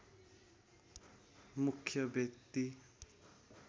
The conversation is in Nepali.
मुख्य व्यक्ति